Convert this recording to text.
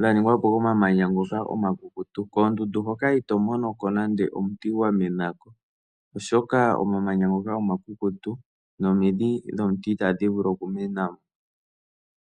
dhaningwapo komamanya ngoka omakukutu koondundu hoka ito monoko nande omuti gwamenako oshoka omamanya ngoka omakukutu nomidhi dhomuti itadhi vulu okumenamo.